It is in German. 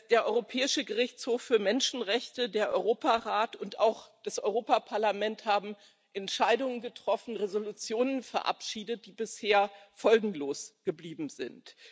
Der Europäische Gerichtshof für Menschenrechte, der Europarat und auch das Europäische Parlament haben Entscheidungen getroffen, Entschließungen verabschiedet, die bisher folgenlos geblieben sind.